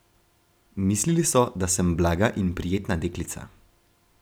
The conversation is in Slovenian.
Mislili so, da sem blaga in prijetna deklica.